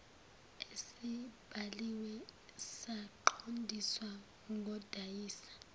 esibhaliwe saqondiswa kodayisa